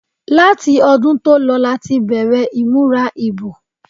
Láti ọdún tó lọ láti bẹ̀rẹ̀ ìmúra ìbò.